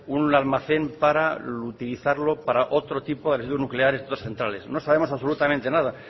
un almacén para utilizarlo para otro tipo de residuos nucleares de otras centrales na sabemos absolutamente nada